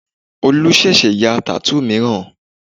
Olú ṣẹ̀ṣẹ̀ ya tattoo mìíràn